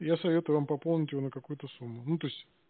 я советую вам пополнить его на какую-то сумму ну то есть